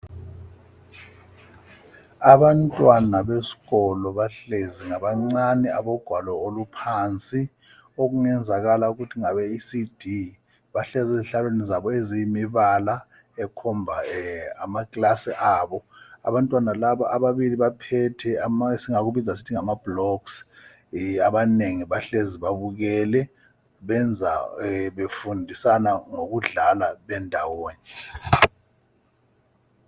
Abantwana besikolo abahlezi ngabangane abogwalo oluphansi okungenzakala ukuthi ngabe ECD, bahlezi ezihlalweni eziyimibala ekhomba amaclass abo , abantwana laba ababili baphethe esingakibiza sithi ngama blocks , ye abanengi bahlezi babukele , benza befundisana ngokudlala bendawonye